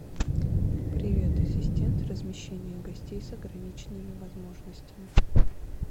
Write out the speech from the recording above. привет ассистент размещение гостей с ограниченными возможностями